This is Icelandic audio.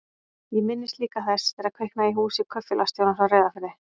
Ég minnist líka þess þegar kviknaði í húsi kaupfélagsstjórans á Reyðarfirði.